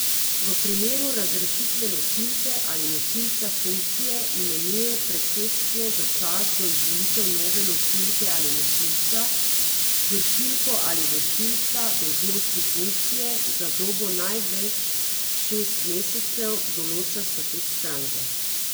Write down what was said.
V primeru razrešitve nosilke ali nosilca funkcije imenuje predsedstvo za čas do izvolitev nove nosilke ali nosilca vršilko ali vršilca dolžnosti funkcije za dobo največ šest mesecev, določa statut stranke.